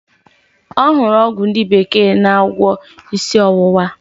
Ọhụrụ ọgwụ ndi bekee na agwo isi owuwa.